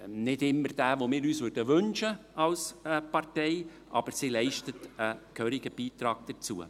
Nicht immer jenen, den wir uns als Partei wünschen würden, aber sie leistet einen gehörigen Beitrag dazu.